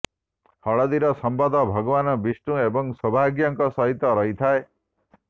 ହଳଦୀର ସମ୍ବନ୍ଧ ଭଗବାନ ବିଷ୍ଣୁ ଏବଂ ସୌଭାଗ୍ୟଙ୍କ ସହିତ ରହିଥାଏ